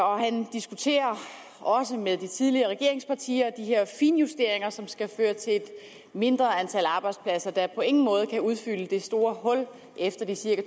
og han diskuterer også med de tidligere regeringspartier de her finjusteringer som skal føre til et mindre antal arbejdspladser der på ingen måde kan udfylde det store hul efter de cirka